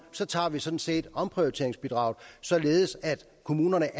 tager vi sådan set penge omprioriteringsbidraget således at kommunerne